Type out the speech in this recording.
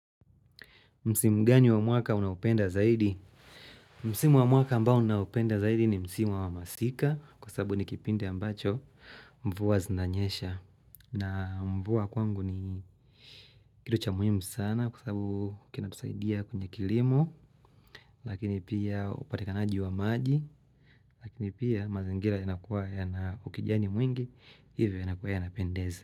Msimu gani wa mwaka unaupenda zaidi? Msimu wa mwaka ambao naupenda zaidi ni msimu wa masika kwa sababu ni kipindi ambacho mvua zinanyesha. Na mvua kwangu ni kitu cha muhimu sana kwa sababu kinatusaidia kwenye kilimo lakini pia upatikanaji wa maji lakini pia mazingira yanakuwa yanaukijani mwingi hivyo yanakuwa yanapendezi.